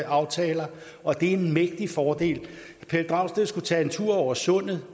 aftaler og det er en mægtig fordel pelle dragsted skulle tage en tur over sundet